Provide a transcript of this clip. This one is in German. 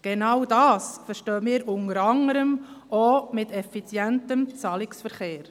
Genau das verstehen wir unter anderem auch unter effizientem Zahlungsverkehr: